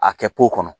A kɛ kɔnɔ